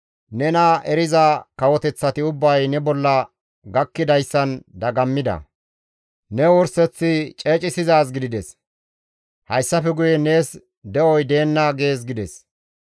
Nena eriza kawoteththati ubbay, ne bolla gakkidayssan dagammida. Ne wurseththi ceecissizaaz gidides; hayssafe guye nees de7oy deenna› gees» gides.